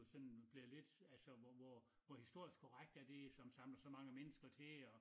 Sådan blevet lidt altså hvor hvor hvor historisk korrekt er det som samler så mange mennsker til og